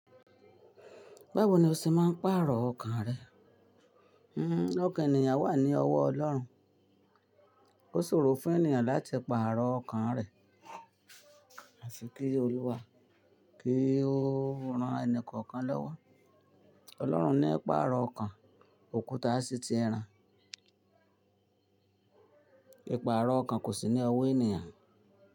Báwo ni o ṣe máa ń pàrọ̀ ọkàn rẹ? Un, ọkàn ènìyàn wà ní ọwọ́ ọlọ́run, ó ṣòro fún ènìyàn láti pàrọ̀ ọkàn rẹ̀, àfi ki Oluwa kí ó ran ẹni kọ̀ọ̀kan lọ́wọ́. Ọlọ́run ní pàrọ̀ ọkàn, òkúta sì ti ran. Ipààrọ̀ ọkàn kò sí ní ọwọ́ ènìyàn.